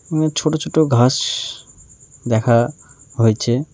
এবং ছোট ছোট ঘাস দেখা হয়েছে।